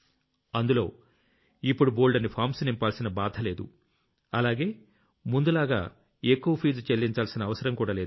అందులో ఇప్పుడు బోల్డన్ని ఫామ్స్ నింపాల్సిన బాధ లేదు అలాగే ముందులా ఎక్కువ ఫీజు చెల్లించాల్సిన అవసరం కూడా లేదు